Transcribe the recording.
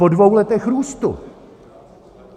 Po dvou letech růstu!